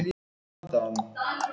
Hún féll í grýttan jarðveg